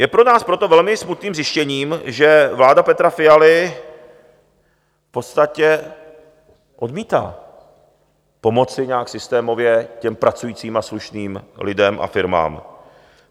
Je pro nás proto velmi smutným zjištěním, že vláda Petra Fialy v podstatě odmítá pomoci nějak systémově těm pracujícím a slušným lidem a firmám.